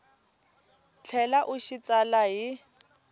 tlhela u xi tsala hi